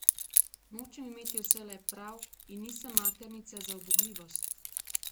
Nočem imeti vselej prav in nisem maternica za ubogljivost!